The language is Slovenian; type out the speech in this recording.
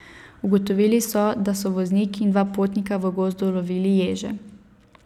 Ugotovili so, da so voznik in dva potnika v gozdu lovili ježe.